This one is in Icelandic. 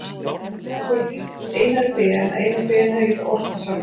Það er svo líkt Einari Ben að Einar Ben hefði getað ort það sjálfur.